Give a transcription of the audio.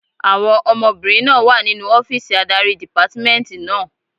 Àwọn ọmọbìnrin náà wà nínu ọ́fìsì adarí dìpámẹ́ẹ̀ntì náà